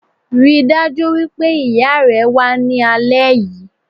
Ríi dájú wípé ìya rẹ wá ní alẹ́ yìí